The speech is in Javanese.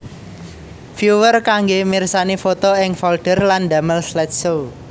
Viewer kanggé mirsani foto ing folder lan damel slideshow